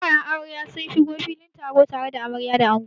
Ƙawayen amarya sun shigo filin taron tare da amarya da ango.